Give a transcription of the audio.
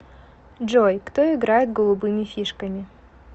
джой кто играет голубыми фишками